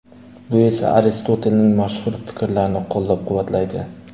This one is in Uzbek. Bu esa Aristotelning mashhur fikrlarini qo‘llab-quvvatlaydi.